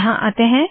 यहाँ आते है